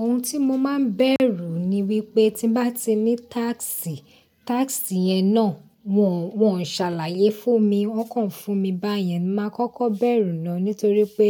Ohun tí mo máa ń bẹ̀rù ni wípé tí n bá ti ní task, task yẹn náà wọ́n, wọ́n ṣàlàyé fún mi. Wọ́n kàn fún mi báyẹn, máa kọ́kọ́ bẹ̀rù lọ nítorí pé